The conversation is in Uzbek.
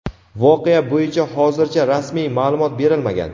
Voqea bo‘yicha hozircha rasmiy ma’lumot berilmagan.